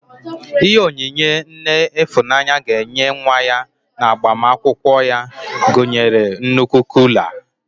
Ihe onyinye nne Ịfụnanya ga-enye nwa ya n'agbamakwụkwọ ya ga-agụnyerịrị nnukwu kuula.